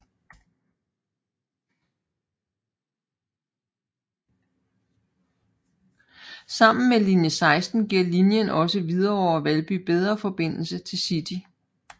Sammen med linie 16 giver linien også Hvidovre og Valby bedre forbindelse til City